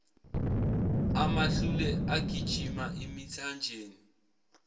amahlule agijima emithanjeni